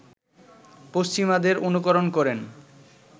পশ্চিমাদের অনুকরণ করেন